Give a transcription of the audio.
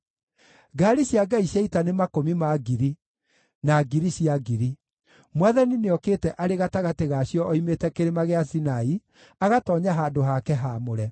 Ngaari cia Ngai cia ita nĩ makũmi ma ngiri, na ngiri cia ngiri; Mwathani nĩokĩte arĩ gatagatĩ ga cio oimĩte Kĩrĩma gĩa Sinai, agatoonya handũ hake haamũre.